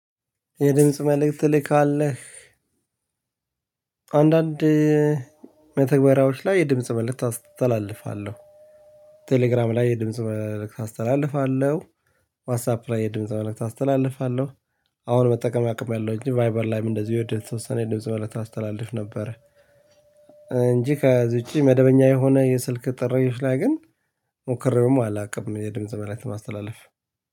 የድምጽ መልእክት ትልካለህ? አንዳንድ መተግበሪያዎች ላይ የድምጽ መልእክት አስተላልፋለሁ። ቴሌግራም ላይ የድምጽ መልእክት አስተላልፋለሁ፣ ዋትሳፕ ላይ የድምጽ መልክት አስተላልፋለሁ፣ አሁን መጠቀም አቁሚያለው እንጂ ቫይበር ላይም እንደዚህ የወደ የተወሰነ ድምጽ መልክት አስተላልፍ ነበረ። እንጂ ከዚ ውጪ መደበኛ የሆነ የስልክ ጥሪዎች ላይ ግን ሞክሬውም አላውቅም የድምጽ መልክት ማስተላለፍ።